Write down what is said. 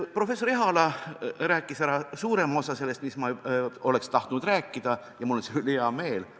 Professor Ehala rääkis ära suurema osa sellest, mida mina oleks tahtnud rääkida, ja mul on selle üle hea meel.